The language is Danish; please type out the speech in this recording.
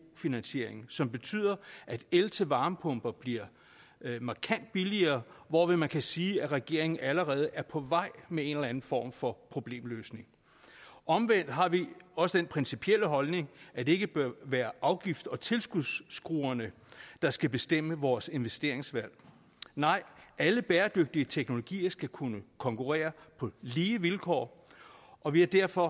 finansieringen som betyder at el til varmepumper bliver markant billigere hvorved man kan sige at regeringen allerede er på vej med en eller anden form for problemløsning omvendt har vi også den principielle holdning at det ikke bør være afgifts og tilskudsskruerne der skal bestemme vores investeringsvalg nej alle bæredygtige teknologier skal kunne konkurrere på lige vilkår og vi er derfor